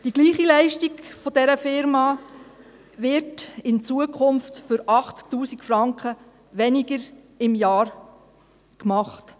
Dieselbe Leistung der Firma GSD wird in Zukunft für 80 000 Franken weniger pro Jahr erbracht.